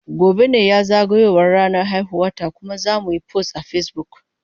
Gobe ​​ne zagayowar ranar haihuwarta kuma zamuyi post a Facebook.